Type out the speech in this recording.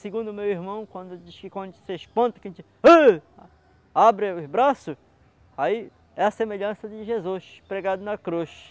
Segundo meu irmão, quando diz quando a gente se espanta, a gente abre os braços, aí é a semelhança de Jesus pregado na cruz.